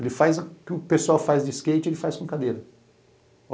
Ele faz o que o pessoal faz de skate, ele faz com cadeira.